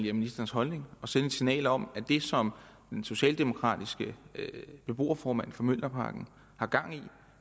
er ministerens holdning og sende et signal om at det som den socialdemokratiske beboerformand for mjølnerparken har gang i